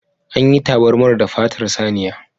An yi tabarmar da fatar saniya.